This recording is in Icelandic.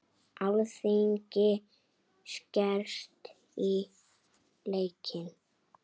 Alþingi skerst í leikinn